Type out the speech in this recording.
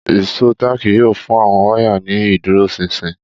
Ìṣó táàkì yóò fún àwọn wáyà ní ìdúróṣinṣin